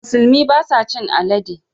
Musulmi ba sa cin alade.